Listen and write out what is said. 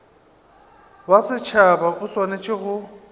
wa setšhaba o swanetše go